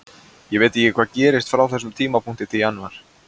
Ég veit ekki hvað gerist frá þessum tímapunkti til janúar.